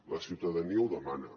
la ciutadania ho demana